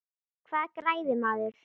Hvað græðir maður?